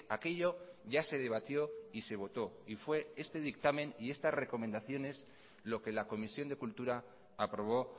aquello ya se debatió y se votó y fue este dictamen y estas recomendaciones lo que la comisión de cultura aprobó